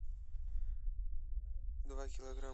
два килограмма